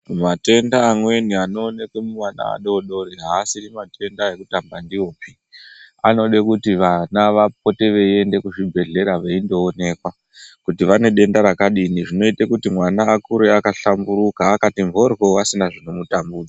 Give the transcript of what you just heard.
Matenda amweni anoonekwa muvana vadodori aasiri matenda ekutamba ndiwopi. Anode kuti vana vapote veiende kuzvibhadhlera veindoonekwa kuti vane denda rakadini. Zvinoite kuti mwana akure akahlamburuka, akati mhoryo asina zvinomutambudza.